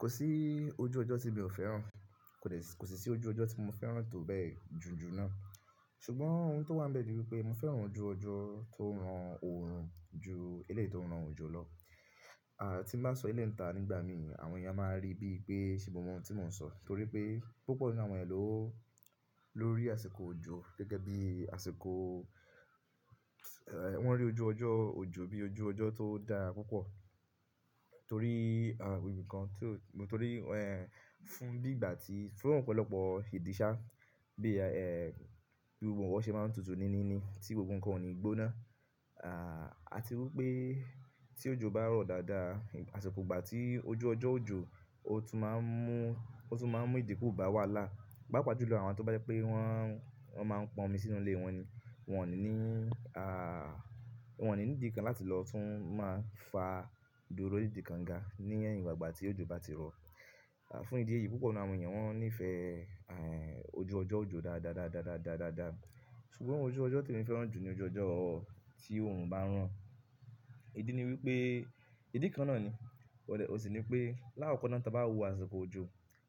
Kò sí ojú ọjọ́ ti mi ò fẹ́ràn, kò sì sí ojú ọjọ́ tí mo fẹ́ràn tó bẹ́ẹ̀ jù jù náà. Ṣùgbọ́n ohun tó wá ń bẹ̀ dí pé mo fẹ́ràn ojú ọjọ́ tó ń ran òòrùn ju eléyìí tó ń ran òjò lọ. Àti bá sọ eléyìí nígbà mi, àwọn èèyàn máa rí bí i pé ṣé mo mọ ohun tí mò ń sọ. Torí pé púpọ̀ nínú àwọn èèyàn ló ló rí àsìkò òjò gẹ́gẹ́ bí àsìkò, ẹ́ wọ́n rí ojú ọjọ́ òjò bí ojú ọjọ́ tó dára púpọ̀. Torí ìbìkan tí ó, torí ẹ́ fún bí ìgbà tí fún ọ̀pọ̀lọpọ̀ idìṣà bí i ẹ́ bí òǹwọ̀ ṣe máa ń tutù níní ni tí gbogbo nǹkan ò ní gbóná. Àti wípé tí òjò bá rọ̀ dáadáa, àsìkò ìgbà tí ojú ọjọ́ òjò ó tún máa ń mú, ó tún máa ń mú ìdíkù bá wà lá. Paa pàá jù lọ àwọn tó bá jẹ́ pé wọ́n, wọ́n máa ń pọn omi sínú ilé wọn ni. Wọn ò ní a wọ́n ò ní ìdí kan láti lọ tún máa fa doro ni ìdí konga ní ẹ̀yìn ìgbàgbà tí òjò bá ti rọ̀. Fún ìdí èyí púpọ̀ nínú àwọn èèyàn wọ́n níìfẹ̀ẹ́ ẹ́ ojú ọjọ́ òjò dáadáa dáadáa dáadáa dáadáa. Ṣùgbọ́n ojú ọjọ́ tí mo fẹ́ràn jù ni ojú ọjọ́ tí òòrùn bá ń ràn. Idi ni wípé, idi kan náà ni, ó sì ni pé lákòókò náà tí wọ́n bá wò àsìkò òjò,